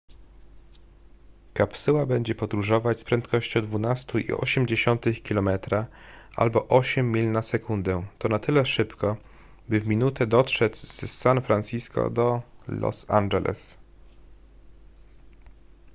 kapsuła będzie podróżować z prędkością 12,8 km albo 8 mil na sekundę to na tyle szybko by w minutę dotrzeć z san francisco do los angeles